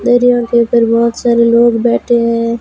दो दीवान के ऊपर बहोत सारे लोग बैठे हैं।